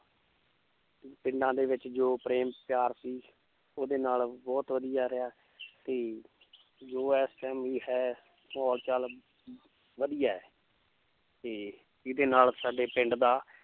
ਪਿੰਡਾਂ ਦੇ ਵਿੱਚ ਜੋ ਪ੍ਰੇਮ ਪਿਆਰ ਸੀ ਉਹਦੇ ਨਾਲ ਬਹੁਤ ਵਧੀਆ ਰਿਹਾ ਤੇ ਜੋ ਇਸ time ਵੀ ਹੈ ਮਾਹੌਲ ਚਲ ਵਧੀਆ ਹੈ ਤੇ ਜਿਹਦੇ ਨਾਲ ਸਾਡੇ ਪਿੰਡ ਦਾ